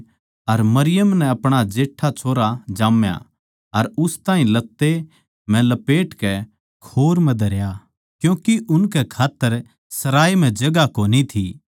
अर उसनै अपणा जेट्ठा छोरा जाम्या अर उस ताहीं लत्ते म्ह लपेटकै खोर म्ह धरया क्यूँके उनकै खात्तर सराये म्ह जगहां कोनी थी